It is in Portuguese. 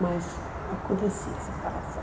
Mas acontecia a separação.